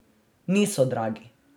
Niso dragi.